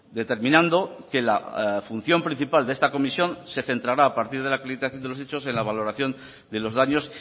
determinando que la función principal de esta comisión se centrará a partir de la acreditación de los hechos en la valoración de los daños